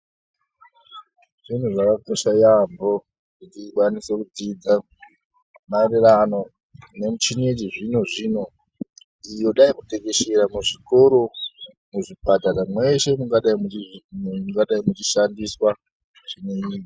Zvinhu zvakakosha yaambo kuti tikwanise kudzidza maererano nemichini yechizvino zvino iyi yodai kutekeshera kwezvikoro, muzvipatara mweshe mungadai muchishandiswa michiniyo.